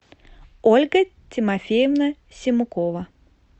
ольга тимофеевна симукова